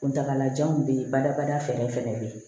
Kuntagalajanw bɛ yen badabada fɛɛrɛ fɛnɛ bɛ ye